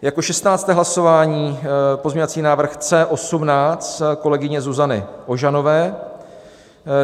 Jako 16. hlasování pozměňovací návrh C18 kolegyně Zuzany Ožanové.